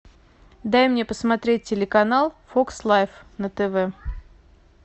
дай мне посмотреть телеканал фокс лайф на тв